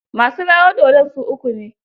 Masu rawar dodn su uku ne.